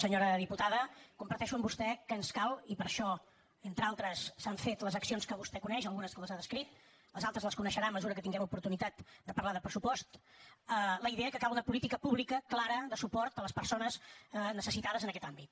senyora diputada comparteixo amb vostè que ens cal i per això entre d’altres s’han fet les accions que vostè coneix algunes les ha descrit les altres les coneixerà a mesura que tinguem oportunitat de parlar de pressupost la idea que cal una política pública clara de suport a les persones necessitades en aquest àmbit